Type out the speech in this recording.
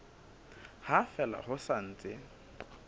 ha fela ho sa ntse